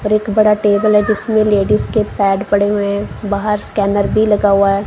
और एक बड़ा टेबल है जिसमें लेडिस के पैड पड़े हुए है बाहर स्कैनर भी लगा हुआ--